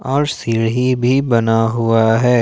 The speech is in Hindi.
और सीढ़ी भी बना हुआ है।